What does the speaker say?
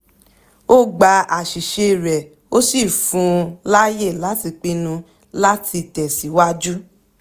ó gba àṣìṣe rẹ̀ ó sì fún láàyè láti pinnu láti tẹ̀síwájú